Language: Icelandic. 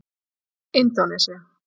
Indónesía